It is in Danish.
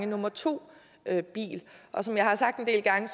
nummer to og som jeg har sagt en del gange